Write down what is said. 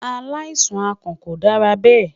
Alaisan akàn ko dara bẹ